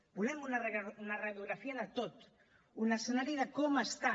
volem una radiografia de tot un escenari de com està